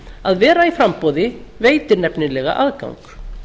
að vera í framboði veitir aðgang